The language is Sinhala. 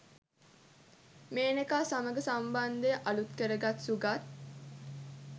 මේනකා සමඟ සම්බන්ධය අලුත් කර ගත් සුගත්